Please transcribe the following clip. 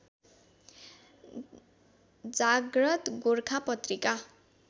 जाग्रत गोर्खा पत्रिका